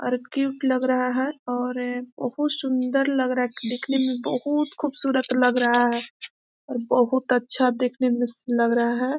और क्यूट लग रहा है और बहुत सुन्दर लग रहा है देखने में बहुत खुबसूरत लग रहा है और बहुत अच्छा देखने में स लग रहा है।